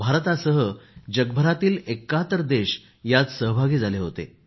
भारतासह जगभरातील 71 देश यात सहभागी झाले होते